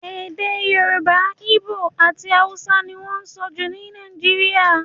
Èdè Yorùbá, Igbo àti Hausa ni wọ́n sọ jù ní Nàìjíríà.